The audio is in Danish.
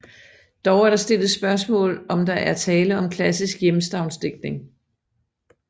Dog er der stillet spørgsmål om der er tale om klassisk hjemstavnsdigtning